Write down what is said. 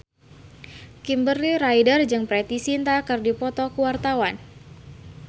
Kimberly Ryder jeung Preity Zinta keur dipoto ku wartawan